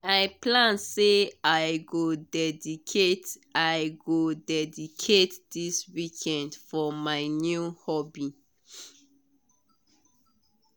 i plan say i go dedicate i go dedicate this weekend for my new hobby.